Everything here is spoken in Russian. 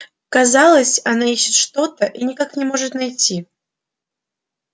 казалось она ищет что то и никак не может найти